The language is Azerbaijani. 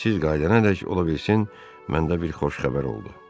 Siz qayıdanadək ola bilsin mənə də bir xoş xəbər oldu.